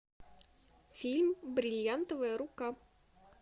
фильм бриллиантовая рука